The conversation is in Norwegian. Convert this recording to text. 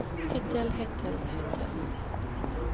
hittil hittil hittil